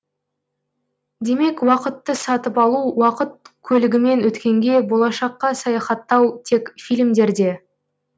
демек уақытты сатып алу уақыт көлігімен өткенге болашаққа саяхаттау тек фильмдерде